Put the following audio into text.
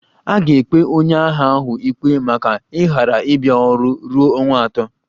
A ga-ekpe onye agha ahụ ikpe maka ịghara ịbia ọrụ ruo ọnwa atọ